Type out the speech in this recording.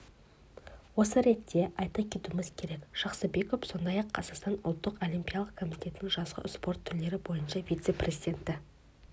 осы ретте айта кетуіміз керек жақсыбеков сондай-ақ қазақстан ұлттық олимпиялық комитетінің жазғы спорт түрлері бойынша вице-президенті